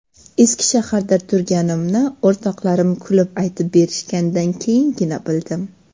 Eski shaharda turganimni o‘rtoqlarim kulib aytib berishganidan keyingina bildim.